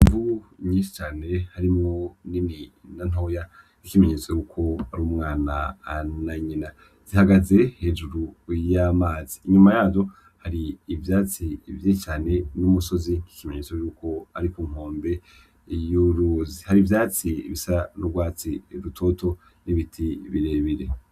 Vu nyishi cane harimwo ni nina ntoya kikimenyetso yuko ari umwana ana nyina zihagaze hejuru wiyo amazi inyuma yayo hari ivyatsi vyi cane n'umusozi nk'ikimenyetso yuko ariku nkombe y'uruzi hari ivyatsi bisarurwatsi rutoto nibite ibirebire.